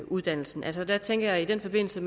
uddannelserne altså der tænker jeg i den forbindelse